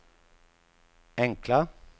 enkla